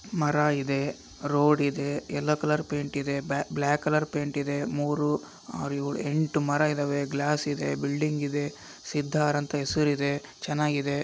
ಮರ ಇದೆ ರೋಡ್ ಇದೆ ಎಲ್ಲೊ ಕಲರ್ ಪೆಂಟ ಇದೆ ಬ್ಯ್ಲಾ ಬ್ಯ್ಲಾಕ ಕಲರ್ ಪೆಂಟ ಇದೆ ಮೂರು ಆರು ಏಳು ಎಂಟು ಮರ ಇದ್ದಾವೆ ಗ್ಲಾಸ್ ಇದೆ ಬಿಲ್ಡಿಂಗ ಇದೆ ಸಿದ್ಧಾರ ಅಂತ ಹೆಸರಿದೆ ಚೆನ್ನಾಗಿದೆ .